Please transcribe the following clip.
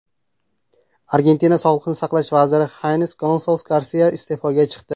Argentina sog‘liqni saqlash vaziri Xines Gonsales Garsia iste’foga chiqdi.